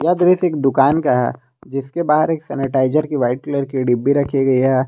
यह दृश्य एक दुकान का है जिसके बाहर एक सेनेटाइजर की वाइट कलर की डिब्बि रखी है।